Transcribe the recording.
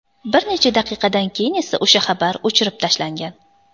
Bir necha daqiqadan keyin esa o‘sha xabar o‘chirib tashlangan.